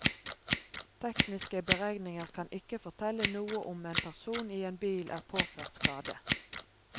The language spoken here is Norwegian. Tekniske beregninger kan ikke fortelle noe om en person i en bil er påført skade.